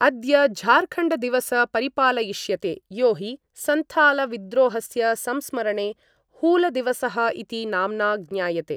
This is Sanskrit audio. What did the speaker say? अद्य झारखण्डदिवस परिपालयिष्यते यो हि सन्थालविद्रोहस्य संस्मरणे हूलदिवसः इति नाम्ना ज्ञायते।